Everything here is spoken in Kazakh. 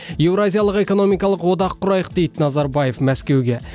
еуразиялық экономикалық одақ құрайық дейді назарбаев мәскеуге